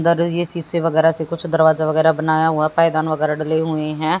इधर ये शीशे वगैरह से कुछ दरवाजा वगैरह बनाया हुआ पायदान वगैरह डले हुए हैं।